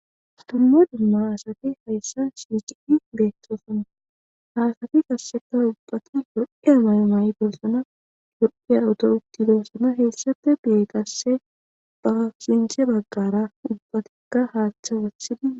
dumma dumma asati hayssa sicidi beettoosanna ha asati qasseka ubbati lo7iya mayo mayididosona lo7iya uto uttidoossona heessafe be qasse ba sinthe baggara ubbatikka haatha wathidi.